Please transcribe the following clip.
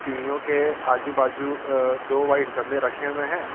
सीढ़ियों के आजू बाजू अ दो वाइट गमले रखे हुए हैं।